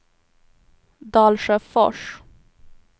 Dalsjöfors